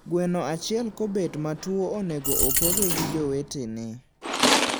Gweno achiel kobet matuo onego opoge ki jowetene